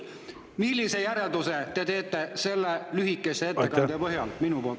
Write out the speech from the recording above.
Millise järelduse te teete minu lühikese ettekande põhjal?